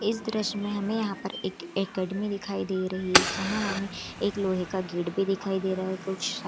इस दृश्य मे हमें यहाँ पर एक अकादमी दिखाई दे रही है जहाँ हमें एक लोहे का गेट भी दिखाई दे रहा है कुछ --